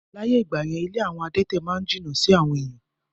Láyé ìgbà yẹn, ilé àwọn adẹ̀tẹ̀ ma n jìnnà sí àwọn èèyàn